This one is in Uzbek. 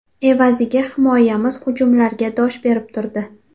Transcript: Evaziga himoyamiz hujumlarga dosh berib turdi.